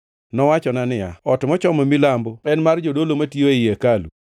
Nowachona niya, “Ot mochomo milambo en mar jodolo matiyo ei hekalu,